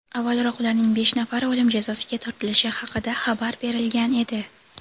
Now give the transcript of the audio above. Avvalroq ularning besh nafari o‘lim jazosiga tortilishi haqida xabar berilgan edi.